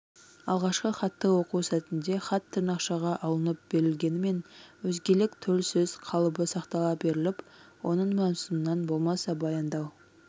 алғашқы хатты оқу сәтінде хат тырнақшаға алынып берілгенімен өзгелік төл сөз қалыбы сақтала беріліп оның мазмұнынан болмаса баяндау